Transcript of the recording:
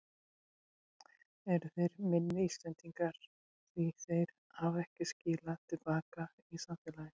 Eru þeir minni Íslendingar því þeir hafa ekki skilað til baka í samfélagið?